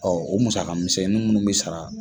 o musakamisɛnnin munnu bɛ sara.